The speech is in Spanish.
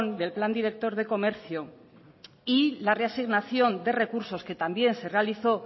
del plan director de comercio y la reasignación de recursos que también se realizó